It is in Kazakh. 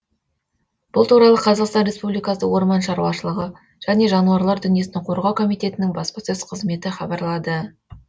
бұл туралы қазақстан республикасы орман шаруашылығы және жануарлар дүниесін қорғау комитетінің баспасөз қызметі хабарлады